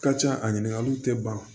Ka ca a ɲininkaliw tɛ ban